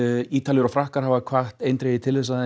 Ítalir og Frakkar hafa hvatt eindregið til að